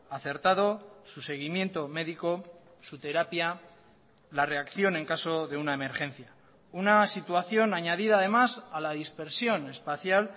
acertado su seguimiento médico su terapia la reacción en caso de una emergencia una situación añadida además a la dispersión espacial